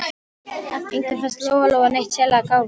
Engum fannst Lóa-Lóa neitt sérlega gáfuð.